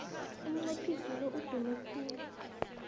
umnqophisi lo udume khulu